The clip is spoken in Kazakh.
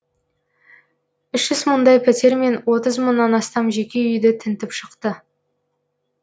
үш жүз мыңдай пәтер мен отыз мыңнан астам жеке үйді тінтіп шықты